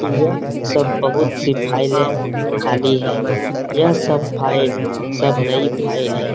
यह सब बहुत सी फाइलें खाली हैं यह सब फाइल सब नई फाइल है।